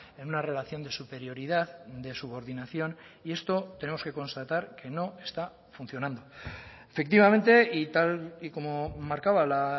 en una relación de superioridad de subordinación y esto tenemos que constatar que no está funcionando efectivamente y tal y como marcaba la